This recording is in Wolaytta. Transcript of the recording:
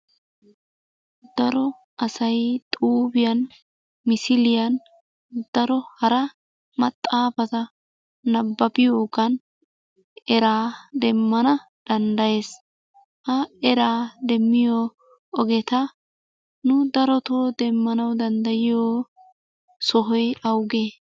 Daro asay xuufiyaan, misiliyan, daro hara maxaafata nababbiyoogan era demmana danddayees. Ha eraa demmiyo ogeta nu darotoo demmanaw danddayiyo sohoy awugee?